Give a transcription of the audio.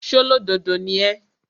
ṣólódodo ni ẹ́?